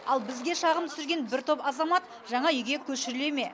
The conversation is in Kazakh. ал бізге шағым түсірген бір топ азамат жаңа үйге көшіріле ме